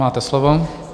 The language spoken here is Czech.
Máte slovo.